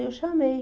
Eu chamei.